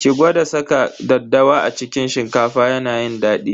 Ki gwada saka daddawa a cikin shinkafa yana yin daɗi.